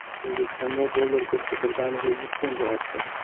O‘zbekistonda dollar kursi birdaniga yuz so‘mga oshdi.